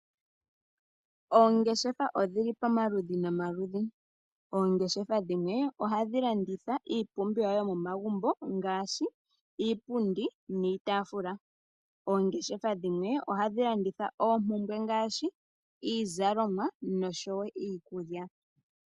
Oongeshefa odhili pamaludhi nomaludhi. Oongeshefa dhimwe ohadhi landitha iipumbiwa yomomagumbo ngaashi iipundi niitaafula. Oongeshefa dhimwe ohadhi landitha oompumbwe ngaashi iizalomwa noshowo iikulya.